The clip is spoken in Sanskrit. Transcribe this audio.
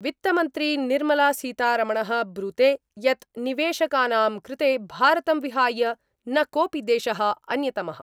वित्तमंत्री निर्मला सीतारमणः ब्रूते यत् निवेशकानां कृते भारतं विहाय न कोऽपि देशः अन्यतमः।